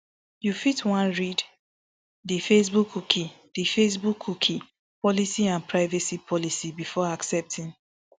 you fit wan read di facebook cookie di facebook cookie policy and privacy policy before accepting